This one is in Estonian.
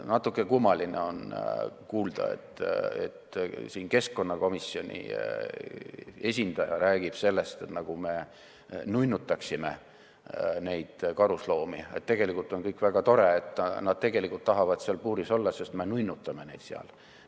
Natuke kummaline on kuulda, et keskkonnakomisjoni esindaja räägib sellest, nagu me nunnutaksime karusloomi, et tegelikult on kõik väga tore, nad tahavad seal puuris olla, sest me nunnutame neid seal.